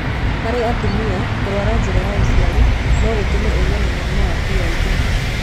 Harĩ atumia, kũrwara njĩra ya ũciari no gũtũme ũgĩe na mũrimũ wa PID.